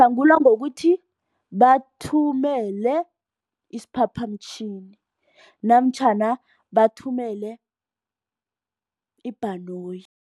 Uhlangulwa ngokuthi bathumele isiphaphamtjhini namtjhana bathumele ibhanoyi.